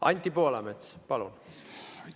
Anti Poolamets, palun!